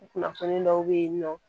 Kunnafoni dɔw be ye nɔ